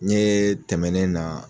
N ye tɛmɛnen na